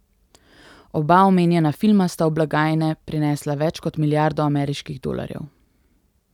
Oba omenjena filma sta v blagajne prinesla več kot milijardo ameriških dolarjev.